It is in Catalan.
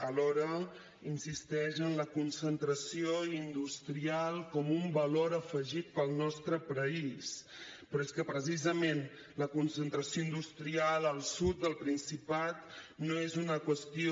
alhora insisteix en la concentració industrial com un valor afegit pel nostre país però és que precisament la concentració industrial al sud del principat no és una qüestió